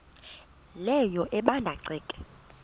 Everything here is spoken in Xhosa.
leyo ebanda ceke